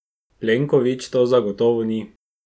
Plenković to zagotovo ni.